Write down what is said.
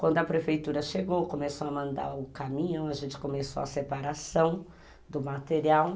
Quando a prefeitura chegou, começou a mandar o caminhão, a gente começou a separação do material.